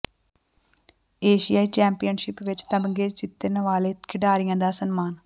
ਏਸ਼ਿਆਈ championship ਵਿਚ ਤਮਗੇ ਜਿਤਣ ਵਾਲੇ ਖਿਡਾਰੀਆਂ ਦਾ ਸਨਮਾਨ